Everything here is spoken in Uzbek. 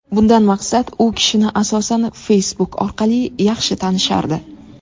Bundan maqsad u kishini asosan Facebook orqali yaxshi tanishardi.